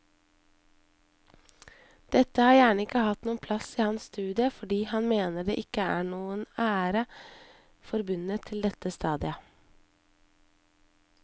Dette har gjerne ikke hatt noen plass i hans studie fordi han mener det ikke er noen ære forbundet til dette stadiet.